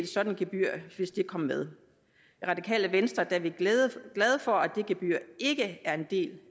sådan et gebyr kom med i radikale venstre er vi glade for at det gebyr ikke er en del